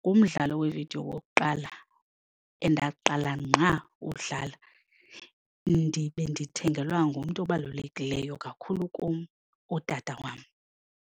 ngumdlalo weevidiyo wokuqala endaqala ngqa uwudlala ndibe ndithengelwa ngumntu obalulekileyo kakhulu kum, utata wam.